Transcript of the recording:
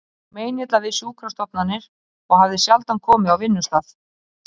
Honum var meinilla við sjúkrastofnanir og hafði sjaldan komið á vinnustað